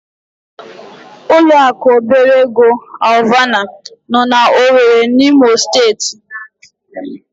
Ụlọaku obere ego Alvana nọ n'Owere n'Imo Steeti.